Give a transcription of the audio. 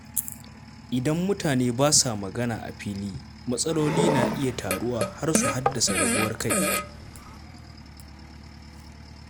Idan mutane ba sa magana a fili, matsaloli na iya taruwa har su haddasa rabuwar kai.